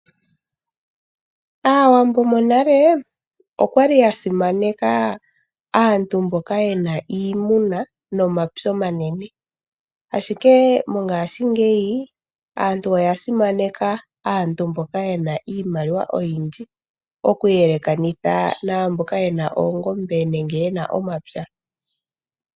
Aawambo monale okwali ya simaneka aantu mboka yena iimuna nomapya omanene, ashike mongashingeyi aantu oya simaneka aantu mboka yena iimaliwa oyindji okuyelekanitha naamboka yena oongombe nenge yena omapya.